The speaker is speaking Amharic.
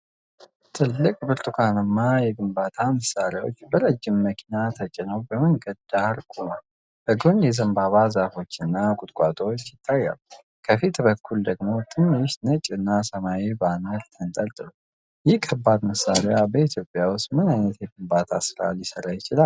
ትልቅ ብርቱካናማ የግንባታ መሣሪያዎች በረጅም መኪና ተጭነው በመንገድ ዳር ቆመዋል። በጎን የዘንባባ ዛፎች እና ቁጥቋጦዎች ይታያሉ። ከፊት በኩል ደግሞ ትንሽ ነጭና ሰማያዊ ባነር ተንጠልጥሏል። ይህ ከባድ መሣሪያ በኢትዮጵያ ውስጥ ምን ዓይነት የግንባታ ሥራ ሊሠራ ይችላል?